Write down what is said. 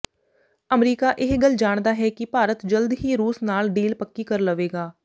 America ਇਹ ਗੱਲ ਜਾਣਦਾ ਹੈ ਕਿ ਭਾਰਤ ਜਲਦ ਹੀ ਰੂਸ ਨਾਲ ਡੀਲ ਪੱਕੀ ਕਰ ਲਵੇਗਾ